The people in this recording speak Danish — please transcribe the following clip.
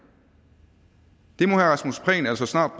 rasmus prehn altså snart